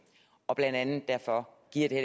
og blandt andet derfor giver det